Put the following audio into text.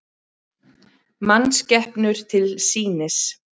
Mannskepnur til sýnis